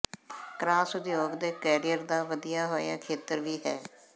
crossover ਦੇ career ਦਾ ਵਧਿਆ ਹੋਇਆ ਖੇਤਰ ਵੀ ਹੈ